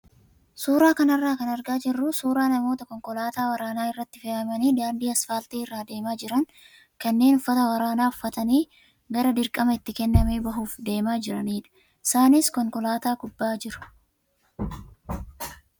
Suuraa kanarraa kan argaa jirru suuraa namoota konkolaataa waraanaa irratti fe'amanii daandii asfaaltii irra adeemaa jiran kanneen uffata waraanaa uffatanii gara dirqama itti kenname bahuuf adeemaa jiranidha. Isaanis konkolaataa gubbaa jiru.